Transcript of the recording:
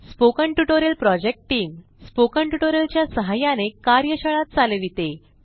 spoken tutorial project team spoken tutorial च्या सहाय्याने कार्यशाळा चालविते